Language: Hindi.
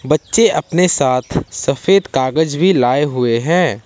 बच्चे अपने साथ सफेद कागज भी लाए हुए हैं।